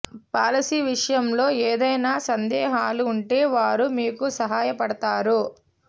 policy విషయం లో ఏదైనా సందేహాలు ఉంటే వారు మీకు సహాయ పడతారు